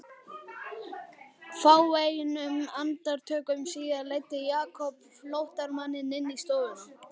Fáeinum andartökum síðar leiddi Jakob flóttamanninn inn í stofuna.